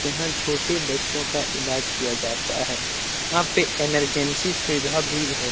यहां छोटे बच्चों का इलाज किया जाता हैं यहां पे इमरजेंसी सुविधा भी है।